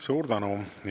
Suur tänu!